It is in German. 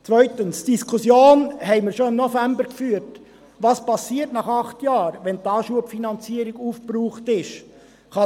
Zweitens führten wir die Diskussion, was nach acht Jahren geschieht, wenn die Anschubfinanzierung aufbraucht sein wird, bereits im November.